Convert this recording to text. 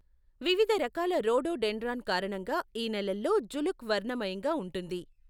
వివిధ రకాల రోడోడెండ్రాన్ కారణంగా ఈ నెలల్లో జులుక్ వర్ణమయంగా ఉంటుంది.